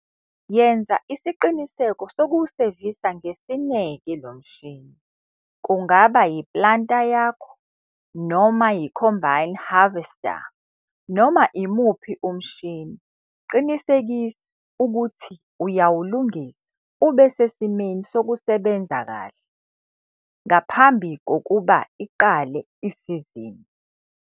Yenza isiqiniseko sokuwusevisa ngesineke lo mshini, kungaba yi-planter yakho noma i-combine harvester. Noma imuphi umshini, qinisekisa ukuthi uyawulungisa ube sesimeni sokusebenza kahle ngaphambi kokuba iqale isizini.